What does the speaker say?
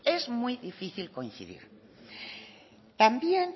es muy difícil coincidir también